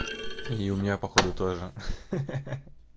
и у меня походу тоже ха-ха-ха